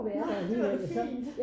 Nej det var da fint